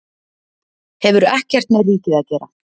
Hefur ekkert með ríkið að gera